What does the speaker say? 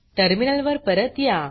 terminal वर परत या